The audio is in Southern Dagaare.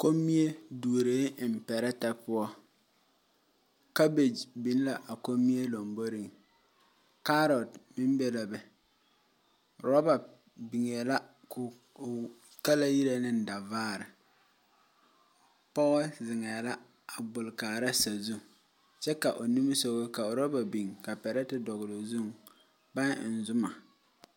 Kommie duureŋ eŋ pɛrɛɛtɛ poɔ, cabbage biŋ la a kommie lamboriŋ, carrot meŋ be be la robber biŋe la yitaa ŋa dɔvaare pɔge zeŋ la a gbol kaara sazu kyɛ ka o niŋe sɔga ka robber biŋ ka pɛrɛɛti dɔɔle o zuŋ baŋ eŋ Zuma.